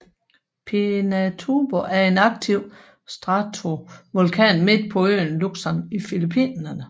Pinatubo er en aktiv stratovulkan midt på øen Luzon i Filippinerne